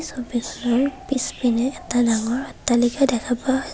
ছবিখনৰ পিছপিনে এটা ডাঙৰ অট্টালিকা দেখা পোৱা হৈ--